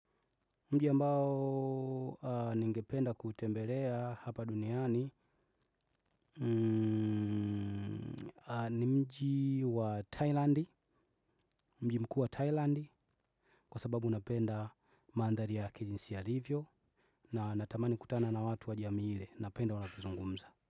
Mji ambao ningependa kutembelea hapa duniani ni mji wa Thailandi, mji mkuu wa Thailandi. Kwa sababu napenda mandhali ya kijinsi yalivyo. Na natamani kutana na watu wa jami hile, napenda unapizungumza.